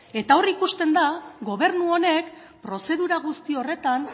eta hor ikusten da gobernu honek prozedura guzti horretan